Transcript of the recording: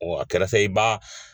Wa a kɛla sa i ba